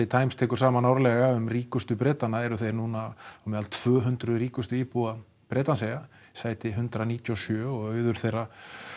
Times tekur saman árlega um ríkustu Bretana þá eru þeir núna meðal tvö hundruð ríkustu íbúa Bretlandseyja sæti hundrað níutíu og sjö og auður þeirra